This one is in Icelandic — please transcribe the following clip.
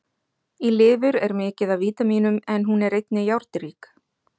Í lifur er mikið af vítamínum en hún er einnig járnrík.